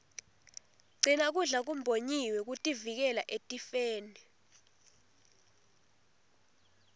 gcina kudla kumbonyiwe kutivikela etifeni